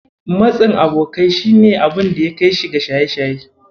Matsin abokanai shi ne abunda ya kaishi ga shaye-shaye.